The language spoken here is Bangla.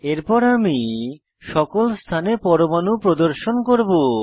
এরপর আমি সকল স্থানে পরমাণু প্রদর্শন করব